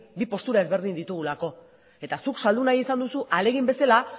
bi postura ezberdin ditugulako eta zuk saldu nahi izan duzu ahalegin bezala